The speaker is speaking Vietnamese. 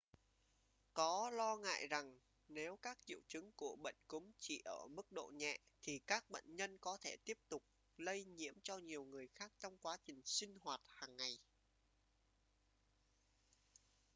có lo ngại rằng nếu các triệu chứng của bệnh cúm chỉ ở mức độ nhẹ thì các bệnh nhân có thể tiếp tục lây nhiễm cho nhiều người khác trong quá trình sinh hoạt hàng ngày